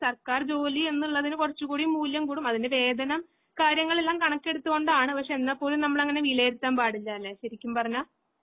സർക്കാർജോലി എന്നുള്ളതിന് കുറച്ച്കൂടി മൂല്യംകൂടും അതിന്റെവേധനം കാര്യങ്ങളെല്ലാംകണക്കെടുത്തുകൊണ്ടാണ്. പക്ഷെ എന്നാപോലും നമ്മളിങ്ങനെ വിലയിരുത്താൻ പാടില്ലാല്ലേ ശരിക്കുംപറഞ്ഞാ